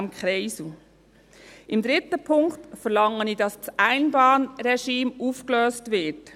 Im dritten Punkt verlange ich, dass das Einbahnregime aufgelöst wird.